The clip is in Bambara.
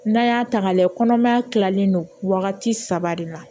N'an y'a ta k'a lajɛ kɔnɔmaya kilalen don wagati saba de na